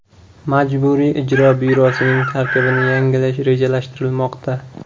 Majburiy ijro byurosining tarkibini yangilash rejalashtirilmoqda.